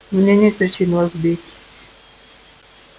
у меня нет причин вас бить